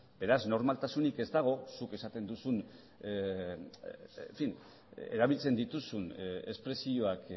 beraz normaltasunik ez dago zuk erabiltzen dituzun espresioak